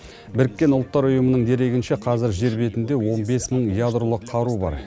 біріккен ұлттар ұйымының дерегінше қазір жер бетінде он бес мың ядролық қару бар